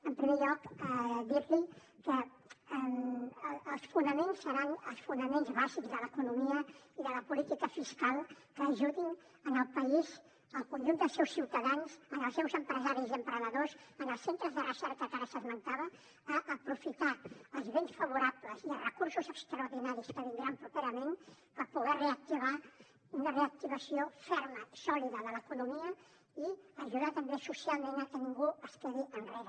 en primer lloc dir li que els fonaments seran els fonaments bàsics de l’economia i de la política fiscal que ajudin el país el conjunt dels seus ciutadans i els seus empresaris i emprenedors els centres de recerca que ara s’esmentava a aprofitar els vents favorables i els recursos extraordinaris que vindran properament per poder reactivar una reactivació ferma sòlida de l’economia i ajudar també socialment a que ningú es quedi enrere